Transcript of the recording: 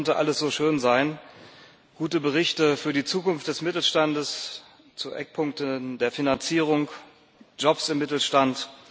Es könnte alles so schön sein gute Berichte für die Zukunft des Mittelstandes zu Eckpunkten der Finanzierung, Jobs im Mittelstand.